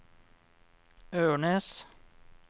Ørnes